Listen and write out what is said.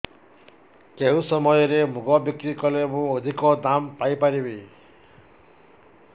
କେଉଁ ସମୟରେ ମୁଗ ବିକ୍ରି କଲେ ମୁଁ ଅଧିକ ଦାମ୍ ପାଇ ପାରିବି